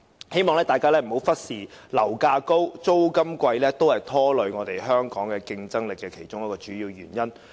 希望大家不要忽視，樓價高企、租金昂貴也是拖累香港競爭力的其中一個主要原因。